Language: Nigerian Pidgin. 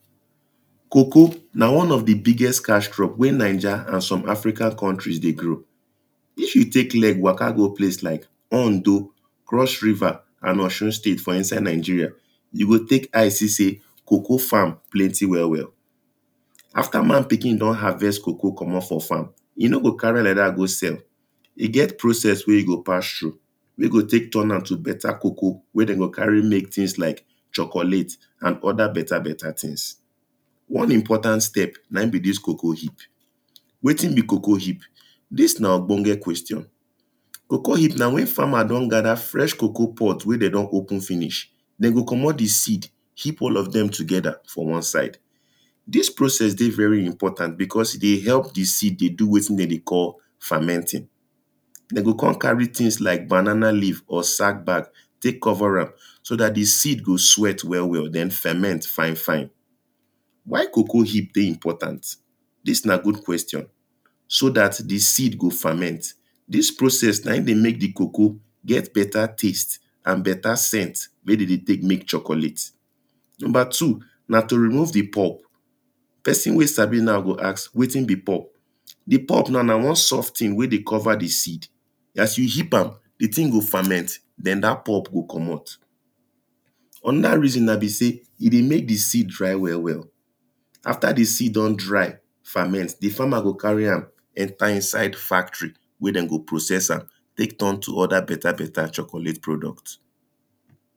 Cocoa na one of di biggest cash crop wen naija and some other African countries dey grow, if you take leg waka go place like Ondo, Cross River and Osun state for inside Nigeria, you go take eye see sey cocoa farm plenty well well. After man pikin don harvest cocoa komot for farm, e no go carry like dat go sell, e get process wen e go pass through, wen go turn am to better cocoa wen dem go carry make things like chocolate and other better better things, one important step na im be dis coacoa heap, wetin be cocoa heap? Dis na ogbenge question, cocoa heap na wen farmer don gather fresh cocoa pod wen dem don open finish, dem go komot di seed, heap all of dem together for one side. This process dey very important because e dey help di seed dey do wetin dem dey call, fermenting. Dem go come carry things like banana leave or sack bag take cover am so dat di seed go sweat well well dem ferment fine fine why coacoa heap dey important? Dis na good question, so dat di seed go ferment dis process na im dey make di cocoa get better taste and better scent. Wey dem dey take make chocolate. number two, na to remove di pop person wen sabi now go ask wetin bi pop? Di pop now na one soft thing wen dey cover di seed, as you heap am, di seed go ferment, den dat pop go komot. Another reason na be sey; e dey make di seed dry well well, after di seed don dry, ferment, di farmer go carry am enter inside di factroy, wen dem go process am take turn to other better better chocolate product.